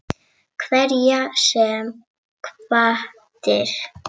Hverjar sem hvatir